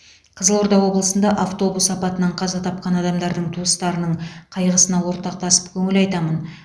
қызылорда облысында автобус апатынан қаза тапқан адамдардың туыстарының қайғысына ортақтасып көңіл айтамын